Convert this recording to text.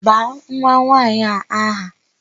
Baa nwanwaanyị a aha!